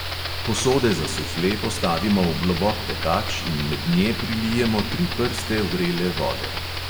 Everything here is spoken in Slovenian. Posode za sufle postavimo v globok pekač in med nje prilijemo tri prste vrele vode.